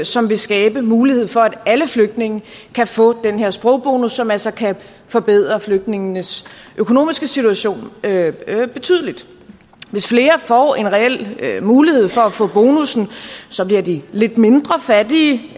som vil skabe mulighed for at alle flygtninge kan få den her sprogbonus som altså kan forbedre flygtningenes økonomiske situation betydeligt hvis flere får en reel mulighed for at få bonussen bliver de lidt mindre fattige